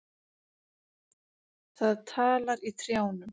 Það talar í trjánum.